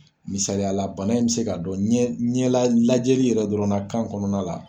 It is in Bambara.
Misaliya la bana in be se ka dɔn ɲɛ la lajɛli yɛrɛ dɔrɔn na kan kɔnɔna la.